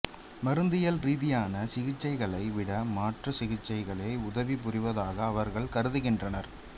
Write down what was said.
மருந்தியல் ரீதியான சிகிச்சைகளை விட மாற்று சிகிச்சைகளே உதவி புரிவதாக அவர்கள் கருதுகின்றனர்